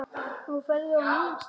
Nú ferðu á nýjan stað.